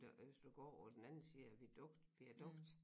Og hvis du går over den anden side viadukt viadukt